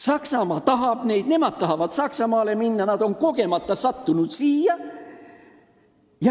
Saksamaa tahab neid, nemad tahavad Saksamaale minna, nad on aga kogemata sattunud siia.